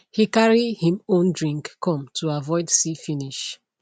he carry him own drink come to avoid see finish